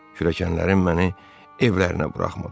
Kürəkənlərim məni evlərinə buraxmadılar.